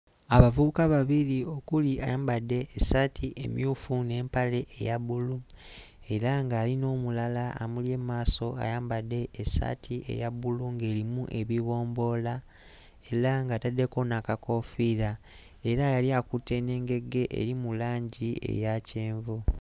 Abavubuka babiri okuli ayambadde essaati emmyufu n'empale eya bbulu era ng'ali n'omulala amuli emmaaso ayambadde essaati eya bbulu ng'erimu ebibomboola era ng'ataddeko n'akakoofiira era yali akutte n'engege eri mu langi eya kyenvu.